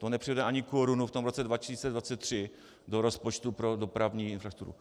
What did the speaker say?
To nepřivede ani korunu v tom roce 2023 do rozpočtu pro dopravní infrastrukturu.